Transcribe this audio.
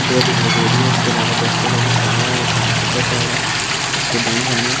दिखाई दे रही है इसके अलावा दरख्तों का जो सहाय है वो घास के ऊपर पड़ा है उसके दायें जानिब --